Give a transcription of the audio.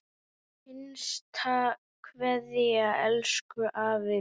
HINSTA KVEÐJA Elsku afi minn.